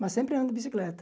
Mas sempre ando de bicicleta.